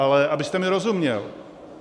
Ale abyste mi rozuměl.